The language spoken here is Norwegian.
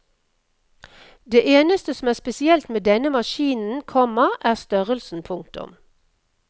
Det eneste som er spesielt med denne maskinen, komma er størrelsen. punktum